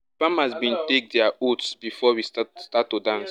farmers bin take dia oaths before we start to dance